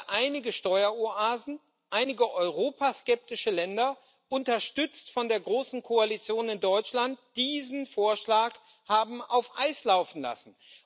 Weil einige Steueroasen, einige europaskeptische Länder, unterstützt von der großen Koalition in Deutschland, diesen Vorschlag haben auf Eis laufen lassen.